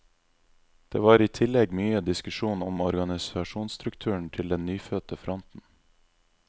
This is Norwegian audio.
Det var i tillegg mye diskusjon om organisasjonsstrukturen til den nyfødte fronten.